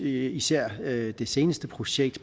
især det seneste projekt